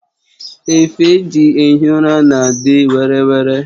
Efe eji ehi ụra na adị were were